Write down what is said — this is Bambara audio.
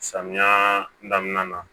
Samiya daminɛ na